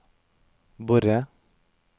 Borre